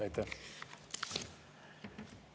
Aitäh!